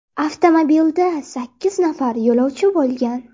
Avtomobilda sakkiz nafar yo‘lovchi bo‘lgan.